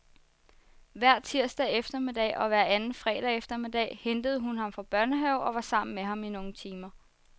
Hver tirsdag eftermiddag og hver anden fredag eftermiddag hentede hun ham fra børnehave og var sammen med ham i nogle timer.